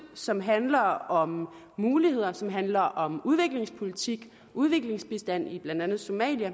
som handler om muligheder som handler om udviklingspolitik udviklingsbistand blandt andet i somalia